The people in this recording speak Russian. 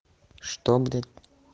что блядь